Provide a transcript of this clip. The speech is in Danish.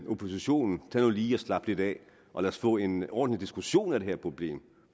oppositionen tag nu lige og slap lidt af og lad os få en ordentlig diskussion af det her problem